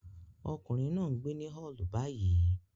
Ọkùnrin náà ń gbé ní Hull báyìí